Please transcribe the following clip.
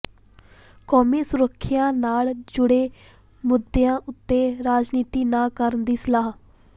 ਕੌਮੀ ਸੁਰੱਖਿਆ ਨਾਲ ਜੁੜੇ ਮੁੱਦਿਆਂ ਉੱਤੇ ਰਾਜਨੀਤੀ ਨਾ ਕਰਨ ਦੀ ਸਲਾਹ